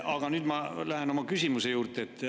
Aga nüüd ma lähen oma küsimuse juurde.